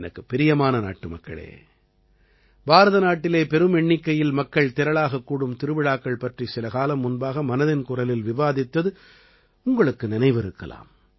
எனக்குப் பிரியமான நாட்டுமக்களே பாரத நாட்டிலே பெரும் எண்ணிக்கையில் மக்கள் திரளாகக் கூடும் திருவிழாக்கள் பற்றி சிலகாலம் முன்பாக மனதின் குரலில் விவாதித்தது உங்களுக்கு நினைவிருக்கலாம்